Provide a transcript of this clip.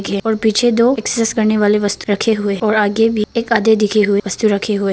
और पीछे दो एक्सरसाइज करने वाले वस्त्र रखें हुए हैं और आगे भी एक आधे दिखे हुए वस्त्र रखें हुए है।